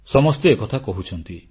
ସମସ୍ତେ ଏକଥା କହୁଛନ୍ତି